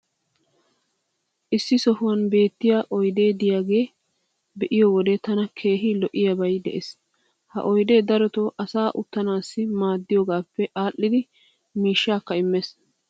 issi sohuwan beettiya oydee diyaagaa be'iyo wode tana keehi lo'iyaabay des. ha oydee darotoo asaa uttisanaassi maaddiyoogaappe aadhdhidi miishshaakka immees.